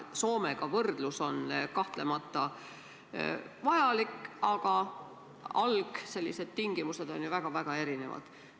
Soomega võrdlus on kahtlemata vajalik, aga algtingimused on siiski väga-väga erinevad.